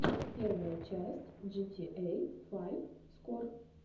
первая часть джитиэй файв скор